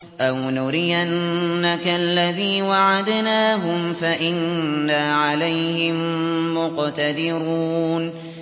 أَوْ نُرِيَنَّكَ الَّذِي وَعَدْنَاهُمْ فَإِنَّا عَلَيْهِم مُّقْتَدِرُونَ